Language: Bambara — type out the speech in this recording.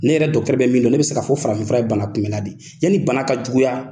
Ne yɛrɛ bɛ min don ne bɛ se k'a fɔ farafin fura ye bana kunbɛla de ye yanni bana ka juguya.